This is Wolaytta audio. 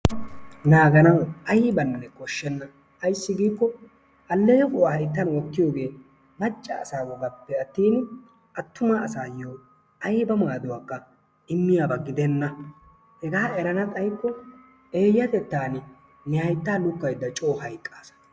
Naaganawu aybakka koshshena. Ayssi giikko aleqquwaa hayttan wottiyogee macca asa bollappe attini attuma asaassi ayiba maaduwakka immiyaba gidenna. Hegaa eranna xayikko eeyatettan ne hayttaa lukkaydda coo hayqqasa.